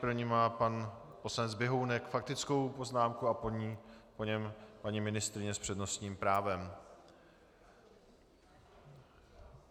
První má pan poslanec Běhounek faktickou poznámku a po něm paní ministryně s přednostním právem.